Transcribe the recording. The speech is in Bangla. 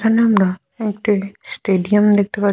এখানে আমরা একটি স্টেডিয়াম দেখতে পা--